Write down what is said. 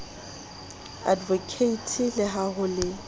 advocate le ha ho le